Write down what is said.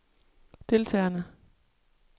deltagerne